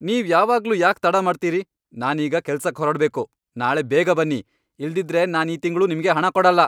ನೀವ್ ಯಾವಾಗ್ಲೂ ಯಾಕ್ ತಡ ಮಾಡ್ತೀರಿ? ನಾನೀಗ ಕೆಲ್ಸಕ್ ಹೊರಡ್ಬೇಕು! ನಾಳೆ ಬೇಗ ಬನ್ನಿ, ಇಲ್ದಿದ್ರೆ ನಾನ್ ಈ ತಿಂಗ್ಳು ನಿಮ್ಗೆ ಹಣ ಕೊಡಲ್ಲ.